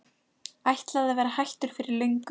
Ætlaði að vera hættur fyrir löngu.